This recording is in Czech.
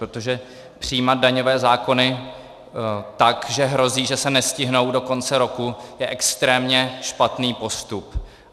Protože přijímat daňové zákony tak, že hrozí, že se nestihnou do konce roku, je extrémně špatný postup.